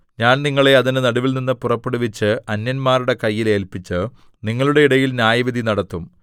ഞാൻ നിങ്ങളെ അതിന്റെ നടുവിൽനിന്നു പുറപ്പെടുവിച്ച് അന്യന്മാരുടെ കയ്യിൽ ഏല്പിച്ച് നിങ്ങളുടെ ഇടയിൽ ന്യായവിധി നടത്തും